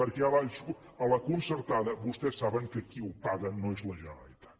perquè a la concertada vostès saben que qui ho paga no és la generalitat